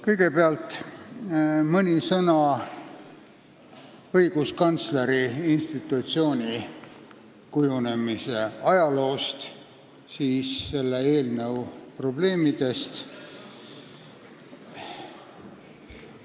Kõigepealt mõni sõna õiguskantsleri institutsiooni kujunemise ajaloost ja siis räägin selle eelnõu probleemidest.